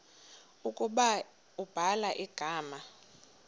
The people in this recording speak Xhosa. ukuba ubhala igama